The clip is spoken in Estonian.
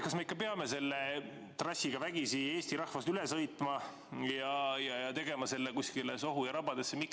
Kas me ikka peame selle trassiga vägisi Eesti rahvast üle sõitma ja tegema selle kusagile sohu ja rabadesse?